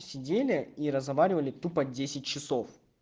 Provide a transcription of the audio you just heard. сидели и разговаривали тупо десять часов